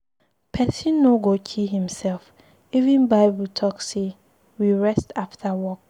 Person no go kill him self, even bible talk say make we rest after work.